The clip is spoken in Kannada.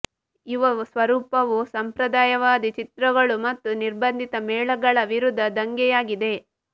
ಯುವ ಸ್ವರೂಪವು ಸಂಪ್ರದಾಯವಾದಿ ಚಿತ್ರಗಳು ಮತ್ತು ನಿರ್ಬಂಧಿತ ಮೇಳಗಳ ವಿರುದ್ಧ ದಂಗೆಯಾಗಿದೆ